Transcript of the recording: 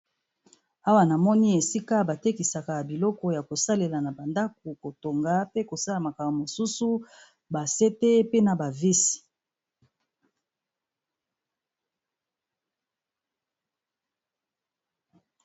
Awa namoni esika ba tekisaka biloko ya kosalela na ba ndaku, kotonga pe kosala makambo mosusu ba sete pe na ba vise.